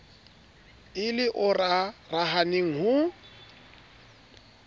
e le o rarahaneng ho